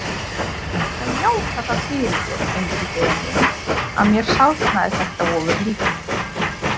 Ég skal játa það fyrir þér, Engiferinn minn, að mér sárnaði þetta ofurlítið.